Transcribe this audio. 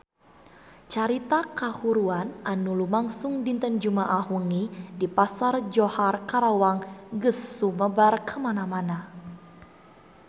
Carita kahuruan anu lumangsung dinten Jumaah wengi di Pasar Johar Karawang geus sumebar kamana-mana